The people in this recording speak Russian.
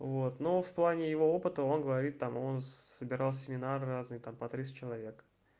вот но в плане его опыта он говорит там он собирал семинары разные там по тридцать человек